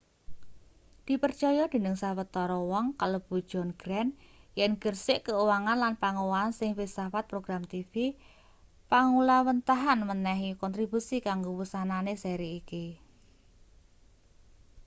dipercaya dening sawetara wong kalebu john grant yen gersik keuangan lan pangowahan ing filsafat program tv panggulawênthahan menehi kontribusi kanggo wusanane seri iki